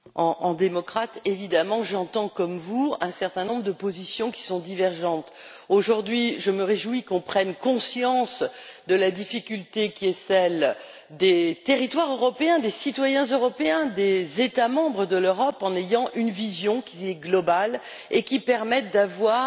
Cher collègue, en tant que démocrate, évidemment, j'entends comme vous un certain nombre de positions qui sont divergentes. Aujourd'hui, je me réjouis que l'on prenne conscience de la difficulté qui est celle des territoires européens, des citoyens européens, des États membres de l'Europe, en adoptant une vision globale qui permet d'avoir